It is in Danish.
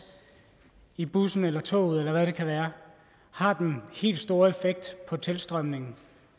i bussen toget eller hvad det kan være har den helt store effekt på tilstrømningen